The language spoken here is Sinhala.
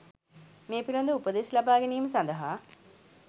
මේ පිළිබඳ ව උපදෙස් ලබා ගැනීම සඳහා